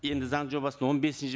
енді заң жобасының он бесінші